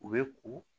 U bɛ ko